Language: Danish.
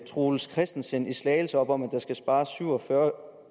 troels christensen i slagelse op om at der skal spares syv og fyrre